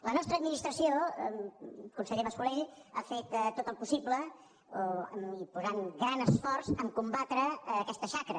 la nostra administració conseller mas colell ha fet tot el possible i posant hi gran esforç per combatre aquesta xacra